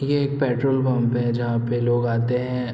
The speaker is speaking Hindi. ये एक पेट्रोल पंप है जहाँ पे लोग आते हैं।